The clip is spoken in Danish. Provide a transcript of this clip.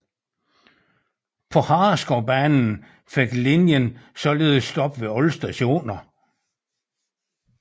På Hareskovbanen fik linjen således stop ved alle stationer